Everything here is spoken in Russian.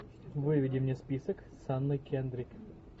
выведи мне список с анной кендрик